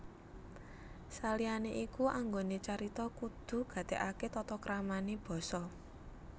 Saliyane iku anggone carita kudu gatekake tata kramane basa